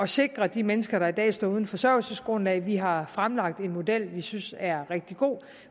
sikre de mennesker der i dag står uden forsørgelsesgrundlag vi har fremlagt en model vi synes er rigtig god